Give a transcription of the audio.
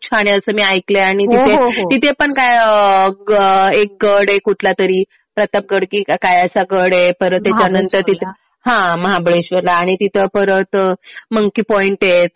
छान आहे असं मी ऐकलंय आणि तिथे पण काय एक गड आहे कुठला तरी. प्रतापगड कि काय असा गड आहे. परत त्याच्यानंतर हा महाबळेश्वरला आणि तिथं परत मंकी पॉईंट आहेत.